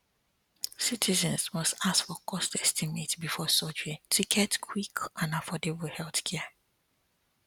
citizens must ask for cost estimate before surgery to get quick and affordable healthcare